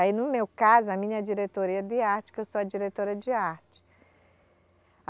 Aí, no meu caso, a minha diretoria de arte, que eu sou a diretora de arte.